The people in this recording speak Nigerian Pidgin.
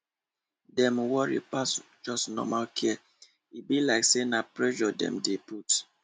dem worry pass just normal care e be like say na pressure dem dey put